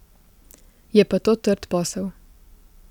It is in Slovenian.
Je pa to trd posel.